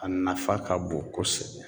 A nafa ka bon kosɛbɛ